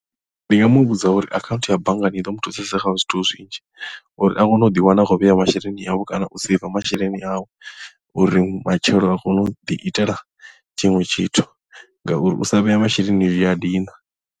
Ndi nga mu vhudza uri akhaunthu ya banngani i ḓo mu thusesa kha zwithu zwinzhi uri a kone u ḓi wana a khou vhea masheleni awe kana u seiva masheleni awe uri matshelo a kone u ḓi itela tshiṅwe tshithu ngauri u sa vhea masheleni zwi a dina.